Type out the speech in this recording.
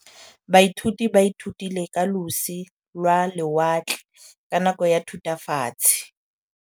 Baithuti ba ithutile ka losi lwa lewatle ka nako ya Thutafatshe.